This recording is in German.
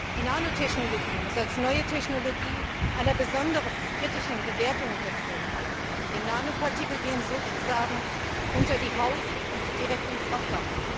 Die Nanotechnologie muss als neue Technologie einer besonders kritischen Bewertung unterzogen werden. Denn Nanopartikel gehen sozusagen unter die Haut und direkt ins Wasser.